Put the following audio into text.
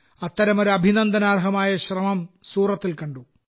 അത്തരമൊരു അഭിനന്ദനാർഹമായ ഒരു ശ്രമം സൂറത്തിൽ കണ്ടു